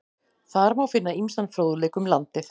Þar má finna ýmsan fróðleik um landið.